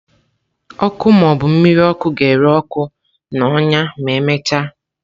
Ọkụ ma ọ bụ mmiri ọkụ ga-ere ọkụ na ọnya ma emechaa.